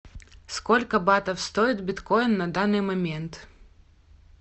сколько батов стоит биткоин на данный момент